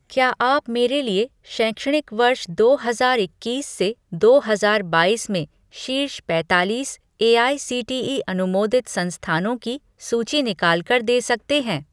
क्या आप मेरे लिए शैक्षणिक वर्ष दो हजार इक्कीस से दो हजार बाईस में शीर्ष पैतालीस एआईसीटीई अनुमोदित संस्थानों की सूची निकाल कर दे सकते हैं